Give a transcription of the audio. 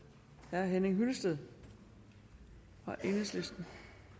herre henning hyllested fra enhedslisten